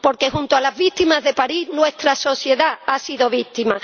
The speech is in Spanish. porque, junto a las víctimas de París, nuestra sociedad ha sido víctima.